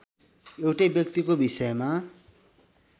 एउटै व्यक्तिको विषयमा